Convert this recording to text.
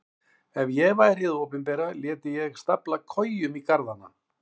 Ef ég væri hið opinbera léti ég stafla kojum í garðana.